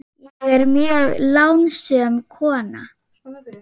Ég er mjög lánsöm kona.